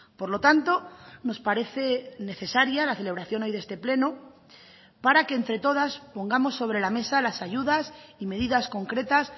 por lo tanto nos parece necesaria la celebración hoy de este pleno para que entre todas pongamos sobre la mesa las ayudas y medidas concretas